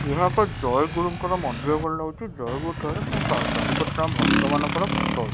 ଏହା ଏକ ଜୟଗୁରୁଙ୍କ ମନ୍ଦିର ପରି ଲାଗୁଛି ଜୟଗୁରୁଙ୍କ ଠାରେ ତା ଚାରିପଟେ ତାଙ୍କ ଭକ୍ତ ମାନଙ୍କର ଫଟୋ ଅଛି।